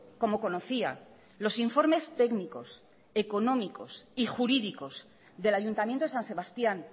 como conocía los informes técnicos económicos y jurídicos del ayuntamiento de san sebastián